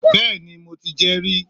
Béeni, mo ti jé ri